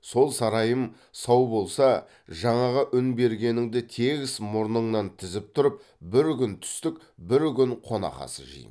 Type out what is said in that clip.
сол сарайым сау болса жаңағы үн бергеніңді тегіс мұрныңнан тізіп тұрып бір күн түстік бір күн қонақасы жеймін